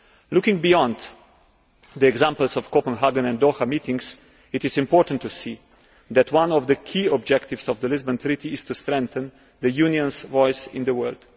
Looking beyond the examples of the Copenhagen and Doha meetings, it is important to see that one of the key objectives of the Lisbon Treaty is to strengthen the Union's voice in the world.